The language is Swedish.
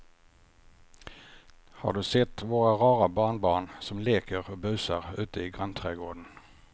Har du sett våra rara barnbarn som leker och busar ute i grannträdgården!